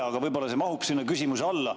Aga võib-olla see mahub sinna küsimuse alla.